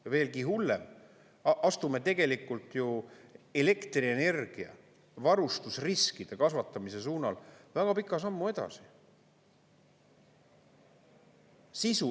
Või veelgi hullem, astume tegelikult ju elektrienergia varustusriskide kasvatamise suunal väga pika sammu edasi.